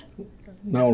Não